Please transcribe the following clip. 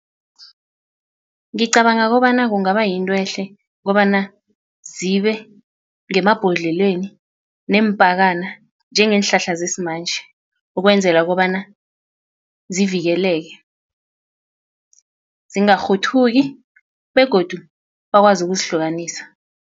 Ngicabanga kobana kungaba yinto ehle kobana zibe ngemabhodleleni neempakana njengeenhlahla zesimanje ukwenzela kobana zivikeleke zingarhuthuki begodu bakwazi ukuzihlukanisa.